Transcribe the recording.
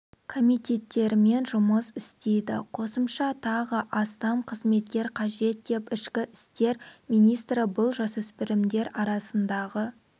комиттерімен жұмыс істейді қосымша тағы астам қызметкер қажет деп ішкі істер министрі бұл жасөспірімдер арасындағы